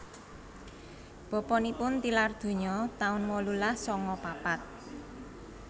Bapanipun tilar donya taun wolulas sanga papat